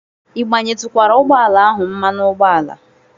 Ị gbayetukwara ụgbọ ala ahụ mmanụ ụgbọala?